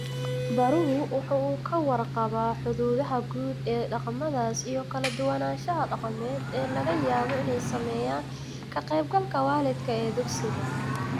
Baruhu waxa uu ka warqabaa xuduudaha guud ee dhaqamadaas iyo kala duwanaanshaha dhaqameed ee laga yaabo inay saameeyaan ka qaybgalka waalidka ee dugsiga.